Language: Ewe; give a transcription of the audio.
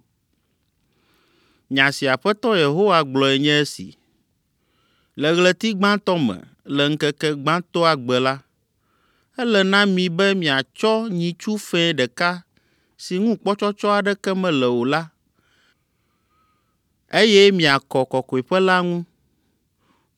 “ ‘Nya si Aƒetɔ Yehowa gblɔe nye esi: Le ɣleti gbãtɔ me, le ŋkeke gbãtɔa gbe la, ele na mi be miatsɔ nyitsu fɛ̃ ɖeka si ŋu kpɔtsɔtsɔ aɖeke mele o la, eye miakɔ Kɔkɔeƒe la ŋu.